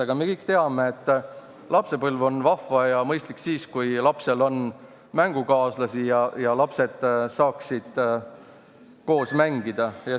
Aga me kõik teame, et lapsepõlv on vahva ja mõistlik siis, kui lapsel on mängukaaslasi ja lapsed saavad koos mängida.